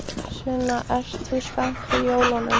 Sunna: Ert þú spennt fyrir jólunum?